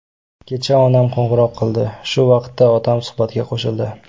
Kecha onam qo‘ng‘iroq qildi, shu vaqtda otam suhbatga qo‘shildi.